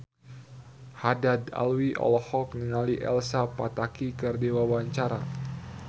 Haddad Alwi olohok ningali Elsa Pataky keur diwawancara